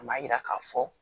A m'a yira k'a fɔ